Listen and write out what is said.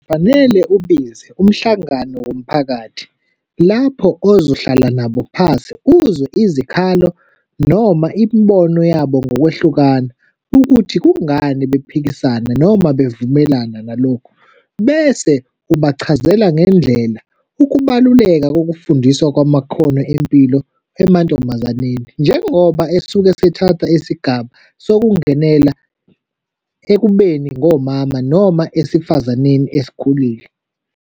Fanele ubize umhlangano womphakathi lapho ozohlala nabo phasi, uzwe izikhalo noma imibono yabo ngokwehlukana, ukuthi kungani bephikisane noma bevumelana nalokhu. Bese ubachazela ngendlela ukubaluleka kokufundiswa kwamakhono empilo emantombazaneni, njengoba esuke esethatha isigaba sokungenela ekubeni ngomama, noma esifazaneni esikhulile.